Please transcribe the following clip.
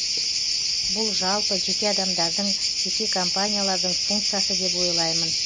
бұл жалпы жеке адамдардың жеке компаниялардың функциясы деп ойлаймын